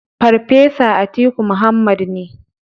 Farfesa Atiku Muhammad ne.